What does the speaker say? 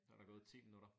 Så der gået 10 minutter